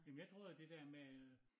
Jamen jeg troede at det dér med øh